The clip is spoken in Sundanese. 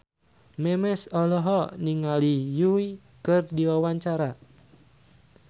Memes olohok ningali Yui keur diwawancara